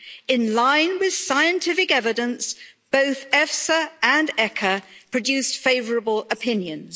In line with scientific evidence, both EFSA and ECHA produced favourable opinions.